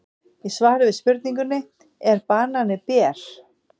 Í svari við spurningunni Er banani ber?